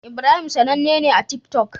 Ibrahim sAnanne ne a tik tok